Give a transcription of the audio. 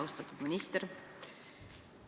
Austatud minister!